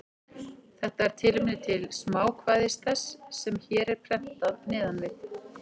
Þetta er tilefni til smákvæðis þess, sem hér er prentað neðan við.